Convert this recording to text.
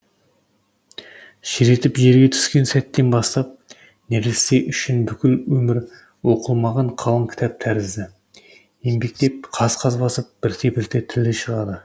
шыр етіп жерге түскен сәттен бастап нәресте үшін бүкіл өмір оқылмаған қалың кітап тәрізді еңбектеп қаз қаз басып бірте бірте тілі шығады